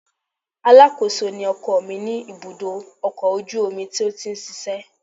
Alákòóso ni ọkọ mi ní ibùdó ọkọ̀ ojú omi tó ti ń ṣiṣẹ́